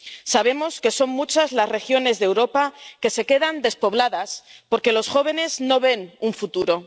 Sabemos que son muchas las regiones de Europa que se quedan despobladas porque los jóvenes no ven un futuro.